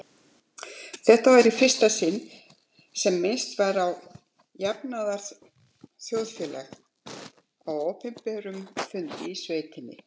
Þetta var í fyrsta sinn sem minnst var á jafnaðarþjóðfélag á opinberum fundi í sveitinni.